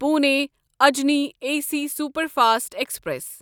Pune Ajni A C superfast express